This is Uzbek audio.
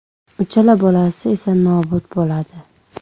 Uchala bolasi esa nobud bo‘ladi.